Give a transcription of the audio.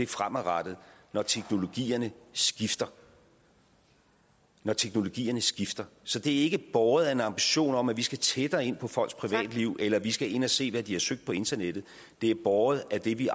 fremadrettet når teknologierne skifter når teknologierne skifter så det er ikke båret af en ambition om at vi skal tættere ind på folks privatliv eller vi skal ind og se hvad de har søgt på internettet det er båret af det vi